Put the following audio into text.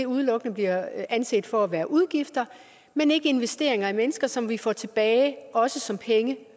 udelukkende bliver anset for at være udgifter men ikke investeringer i mennesker som vi får tilbage også som penge